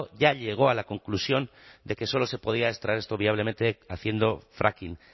ya llegó a la conclusión de que solo se podía extraer esto viablemente haciendo fracking